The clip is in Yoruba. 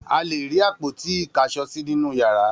A le rí àpótí-ìkáṣọsí nínú ìyàrá.